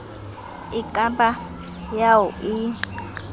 e ka ba ao e